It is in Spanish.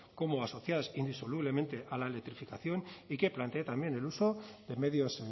como asociadas indisolublemente a la electrificación y que planteé también el uso de medios